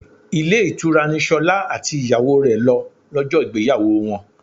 Ilé ìtura ni Ṣolá àti ìyàwó rẹ lọ lọ́jọ́ ìgbéyàwó wọn.